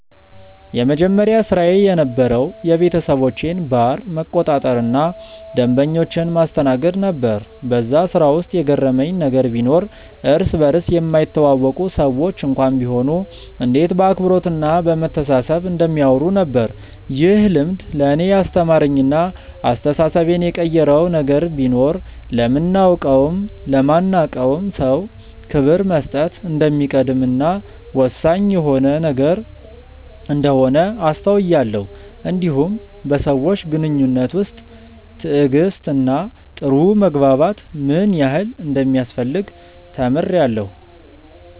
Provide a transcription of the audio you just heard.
የመጀመሪያ ስራዬ የነበረዉ የቤተሰቦቼን ባር መቆጣጠር እና ደንበኞችን ማስተናገድ ነበር በዛ ስራ ውስጥ የገረመኝ ነገር ቢኖር እርስ በርስ የማይተዋወቁ ሰዎች እንኳን ቢሆኑ እንዴት በአክብሮት እና በመተሳሰብ እንደሚያወሩ ነበር። ይህ ልምድ ለእኔ ያስተማረኝ እና አስተሳሰቤን የቀየረው ነገር ቢኖር ለምናቀውም ለማናቀውም ሰው ክብር መስጠት እንደሚቀድም እና ወሳኝ የሆነ ነገር እንደሆነ አስተውያለው እንዲሁም በሰዎች ግንኙነት ውስጥ ትዕግስት እና ጥሩ መግባባት ምን ያህል እንደሚያስፈልግ ተምሬአለሁ።